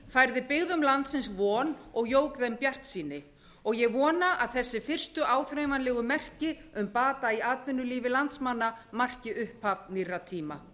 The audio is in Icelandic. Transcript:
færði byggðum landsins von og jók þeim bjartsýni og ég vona að þessi fyrstu áþreifanlegu merki um bata í atvinnulífi landsmanna marki upphaf nýrra tíma